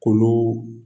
K'olu